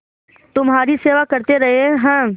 तुम्हारी सेवा करते रहे हैं